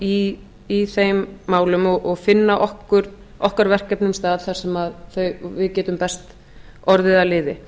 farveg í þeim málum og finna okkar verkefnum stað þar sem við getum best orðið að liði